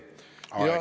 Aeg!